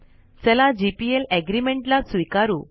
चला gplएग्रीमेंट चा स्वीकारू